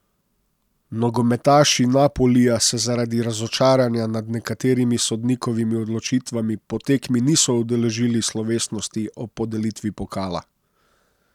Nogometaši Napolija se zaradi razočaranja nad nekaterimi sodnikovimi odločitvami po tekmi niso udeležili slovesnosti ob podelitvi pokala.